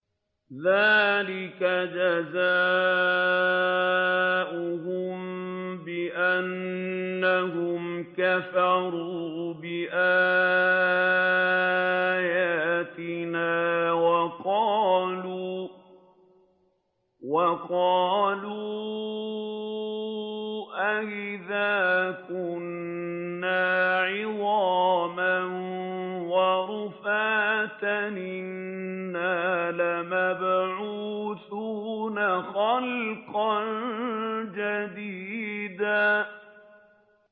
ذَٰلِكَ جَزَاؤُهُم بِأَنَّهُمْ كَفَرُوا بِآيَاتِنَا وَقَالُوا أَإِذَا كُنَّا عِظَامًا وَرُفَاتًا أَإِنَّا لَمَبْعُوثُونَ خَلْقًا جَدِيدًا